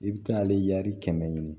I bɛ taa ale kɛmɛ ɲini